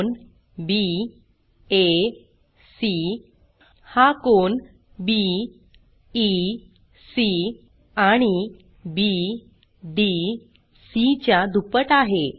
कोन बॅक हा कोन बीईसी आणि बीडीसी च्या दुप्पट आहे